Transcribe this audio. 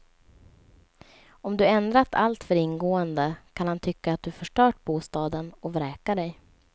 Om du ändrat alltför ingående kan han tycka att du förstört bostaden och vräka dig.